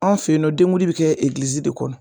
An fɛ yen nɔ denkundi bɛ kɛ egilizi de kɔnɔ.